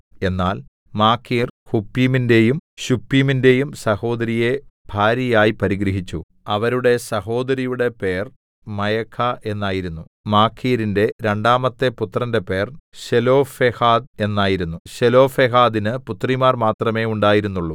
എന്നാൽ മാഖീർ ഹുപ്പീമിന്റെയും ശുപ്പീമിന്റെയും സഹോദരിയെ ഭാര്യയായി പരിഗ്രഹിച്ചു അവരുടെ സഹോദരിയുടെ പേർ മയഖാ എന്നായിരുന്നു മാഖീരിന്റെ രണ്ടാമത്തെ പുത്രന്റെ പേർ ശെലോഫെഹാദ് എന്നായിരുന്നു ശെലോഫെഹാദിന് പുത്രിമാർ മാത്രമെ ഉണ്ടായിരുന്നുള്ളൂ